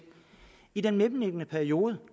i den mellemliggende periode